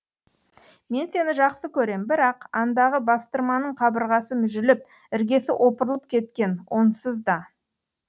мен сені жақсы көрем бірақ андағы бастырманың қабырғасы мүжіліп іргесі опырылып кеткен онсыз да